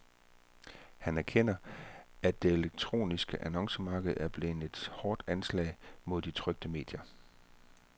Han erkender, at det elektroniske annoncemarked kan blive et hårdt anslag mod de trykte medier.